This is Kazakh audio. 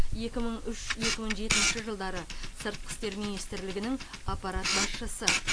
екі мың үш екі мың жетінші жылдары сыртқы істер министрлігінің аппарат басшысы